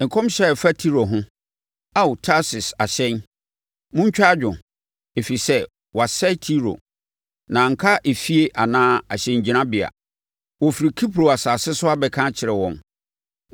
Nkɔmhyɛ a ɛfa Tiro ho: Ao, Tarsis ahyɛn, montwa adwo! Ɛfiri sɛ wɔasɛe Tiro na anka no afie anaa ɛhyɛngyinabea. Wɔfiri Kipro asase so abɛka akyerɛ wɔn.